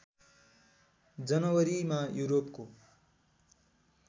जनवरीमा युरोपको